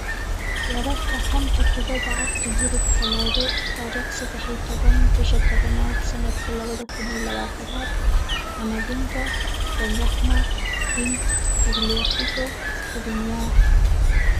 Wararka xanta kubada cagta Yurub Talaado tariq sedax iyo toban, bisha tobnad sanadka labada kun iyo labatanaad: Camavinga, Benrahma, King, Tagliafico, Skriniar,